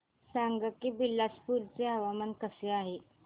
सांगा की बिलासपुर चे हवामान कसे आहे